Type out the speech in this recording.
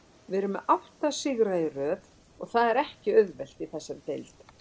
Við erum með átta sigra í röð og það er ekki auðvelt í þessari deild.